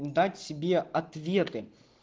дать себе ответы